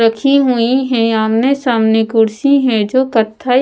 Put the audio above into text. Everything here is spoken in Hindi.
रखी हुई है आमने-सामने कुर्सी है जो कथा--